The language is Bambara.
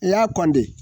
I y'a kɔn de